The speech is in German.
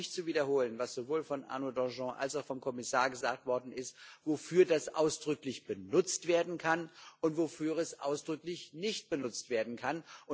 Ich brauche nicht zu wiederholen, was sowohl von Arnaud Danjean als auch vom Kommissar gesagt worden ist, wofür das ausdrücklich benutzt werden kann und wofür es ausdrücklich nicht benutzt werden kann.